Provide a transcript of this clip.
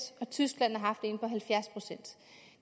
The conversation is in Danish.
og tyskland har haft en på halvfjerds procent